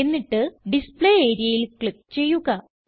എന്നിട്ട് ഡിസ്പ്ലേ areaയിൽ ക്ലിക്ക് ചെയ്യുക